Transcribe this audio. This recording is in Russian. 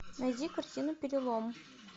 найди картину перелом